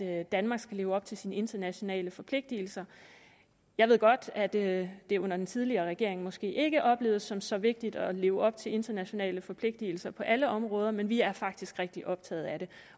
at danmark skal leve op til sine internationale forpligtelser jeg ved godt at det det under den tidligere regering måske ikke oplevedes som så vigtigt at leve op til internationale forpligtelser på alle områder men vi er faktisk rigtig optaget af det